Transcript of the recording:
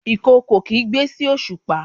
ìkookò kigbe sí osupa